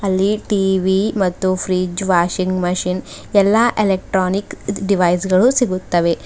ಇಲ್ಲಿ ಟಿ_ವಿ ಮತ್ತು fridge washing machine ಎಲ್ಲಾ ಎಲೆಕ್ಟ್ರಾನಿಕ್ ಡಿವೈಸ್ ಗಳು ಸಿಗುತ್ತವೆ.